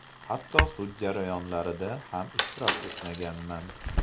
Hatto sud jarayonlarida ham ishtirok etmaganman.